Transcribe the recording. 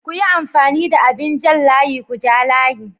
Kuyi amfani da abin jan layi kuja layi.